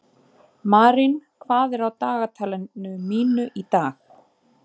Marín, hvað er á dagatalinu mínu í dag?